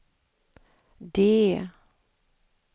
D